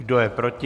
Kdo je proti?